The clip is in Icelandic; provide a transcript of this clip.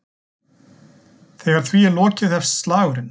Þegar því er lokið hefst slagurinn.